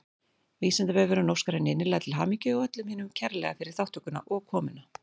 Vísindavefurinn óskar henni innilega til hamingju og öllum hinum kærlega fyrir þátttökuna og komuna.